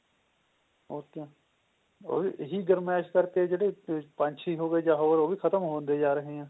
ok ਇਹੀ ਗਰਮੈਸ਼ ਕਰਕੇ ਜਿਹੜੇ ਪੰਜ ਛੇ ਹੋ ਗਏ ਜਾ ਹੋਰ ਹੋ ਗਏ ਖਤਮ ਹੁੰਦੇ ਜਾ ਰਹੇ ਨੇ